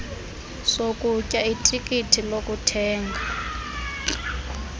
sokutya itikiti lokuthenga